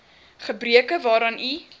gebreke waaraan u